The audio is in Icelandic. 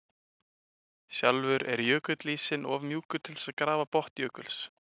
Sjálfur er jökulísinn of mjúkur til þess að grafa botn jökuls.